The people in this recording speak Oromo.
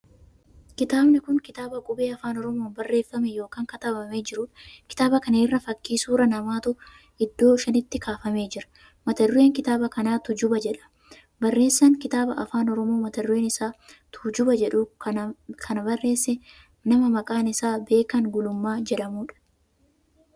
Kitaabni kun kitaaba qubee Afaan Oromoon barreeffamee ykn katabamee jiruudha. kitaaba kana irra fakkii suuraa namaatu iddoo shanitti kaafamee jira. mata dureen kitaaba kana tuujuba jedhama. barreessaan kitaaba Afaan Oromoo mata dureen isaa tuujuba jedhu kana barreesse nama maqaan isaa Beekan Gulummaa jedhamuudha.